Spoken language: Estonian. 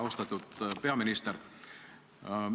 Austatud peaminister!